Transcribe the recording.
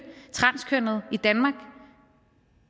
transkønnede i danmark